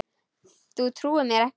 Þú trúir mér ekki?